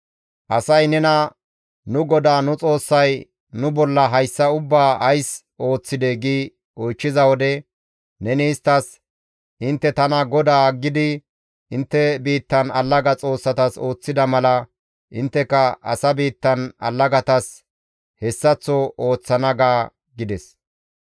Asay nena, ‹Nu GODAA nu Xoossay nu bolla hayssa ubbaa ays ooththidee?› giidi oychchiza wode neni isttas, ‹Intte tana GODAA aggidi intte biittan allaga xoossatas ooththida mala, intteka asa biittan allagatas hessaththo ooththana› ga» gides.